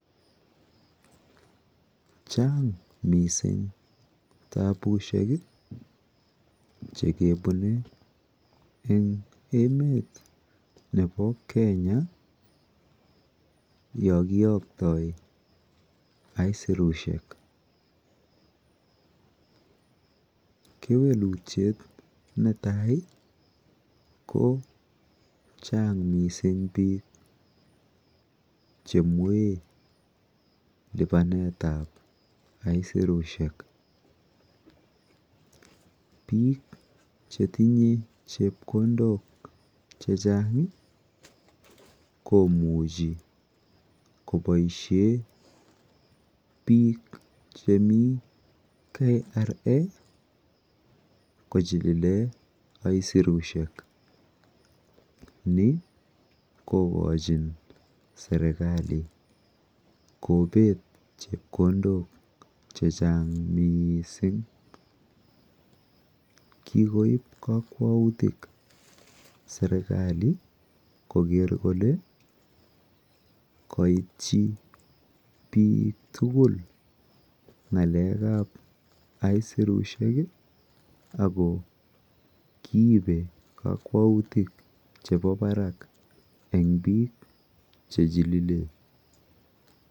Chang mising tapushek chikebune eng emet nepo Kenya yokioktoi aisurushek. Kewelutyet netai ko chang mising biik chemwee lipanetap aisurushek. Biik chetinye chepkondok chechang komuchi koboishe biik chemi Kenya revenue authority kochilile aisurushek. Ni kokochin serikali kopet chepkondok chechang miising. Kikoip kakwautik serikali koker kole kaitchi biik tugul ng'alekap aisurushek ako kiipe kakwautik chemi barak eng biik chechilile.